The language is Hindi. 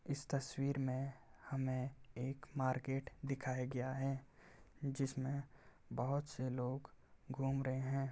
इस तस्वीर में हमें एक मार्केट दिखया गया है। जिसमे बहुत से लोग घूम रहे हैं।